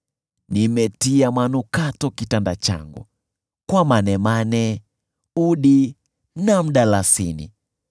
Nimetia manukato kitanda changu kwa manemane, udi na mdalasini.